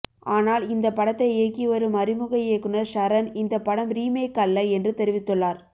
ஆனால் இந்த படத்தை இயக்கி வரும் அறிமுக இயக்குனர் ஷரன் இந்த படம் ரீமேக் அல்ல என்று தெரிவித்துள்ளார்